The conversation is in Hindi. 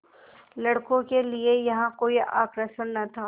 लड़कों के लिए यहाँ कोई आकर्षण न था